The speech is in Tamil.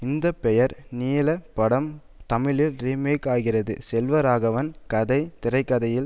இந்த பெயர் நீள படம் தமிழில் ரீமேக்காகிறது செல்வராகவன் கதை திரைக்கதையில்